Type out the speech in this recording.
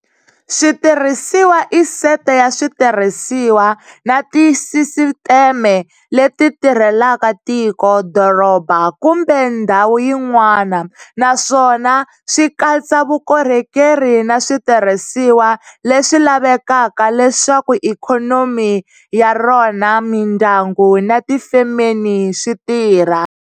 Switirhisiwa i sete ya switirhisiwa na tisisiteme leti tirhelaka tiko, doroba, kumbe ndhawu yin'wana, naswona swi katsa vukorhokeri na switirhisiwa leswi lavekaka leswaku ikhonomi ya rona, mindyangu na tifemeni swi tirha.